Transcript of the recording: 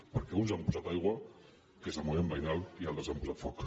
perquè uns hi han posat aigua que és el moviment veïnal i altres hi han posat foc